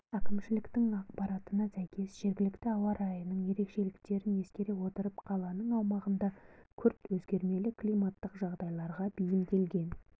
әкімшіліктің ақпаратына сәйкес жергілікті ауа райының ерекшеліктерін ескере отырып қаланың аумағында күрт өзгермелі климаттық жағдайларға бейімделген